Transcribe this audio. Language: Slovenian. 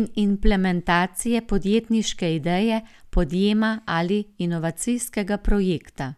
in implementacije podjetniške ideje, podjema ali inovacijskega projekta.